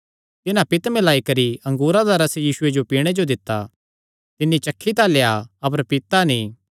तिन्हां पित्त मिल्लाई करी अंगूरा दा रस यीशुये जो पीणे जो दित्ता तिन्नी चखी तां लेआ अपर पीता नीं